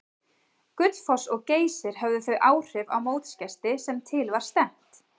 Gullfoss og Geysir höfðu þau áhrif á mótsgesti sem til var stefnt.